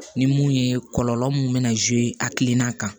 Ni mun ye kɔlɔlɔ mun be na a hakilina kan